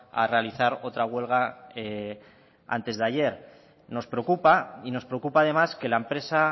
a realizar otra huelga antes de ayer nos preocupa y nos preocupa además que la empresa